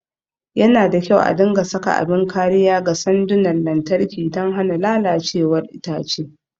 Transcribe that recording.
Yana da kyau a dinga saka abin kariya ga sandunan lantarki don hana lalacewar itace.